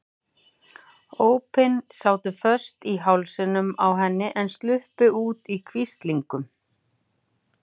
Ópin sátu föst í hálsinum á henni en sluppu út í hvíslingum.